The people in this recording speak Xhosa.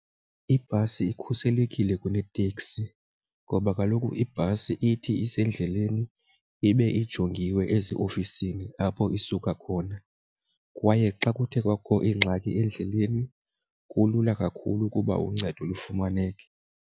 Ibhasi ikhuselekile kuneteksi ngoba kaloku ibhasi ithi isendleleni ibe ijongiwe eziofisini apho isuka khona. Kwaye xa kuthe kwakho ingxaki endleleni kulula kakhulu ukuba uncedo lufumaneke.